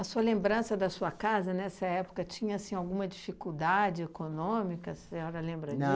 A sua lembrança da sua casa, nessa época, tinha assim alguma dificuldade econômica, a senhora lembra disso?